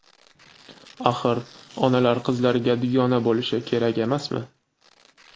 Axir, onalar qizlariga dugona bo‘lishi kerak emasmi?